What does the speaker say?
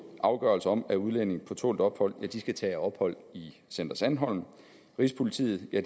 afgørelser om at udlændinge på tålt ophold skal tage ophold i center sandholm rigspolitiet er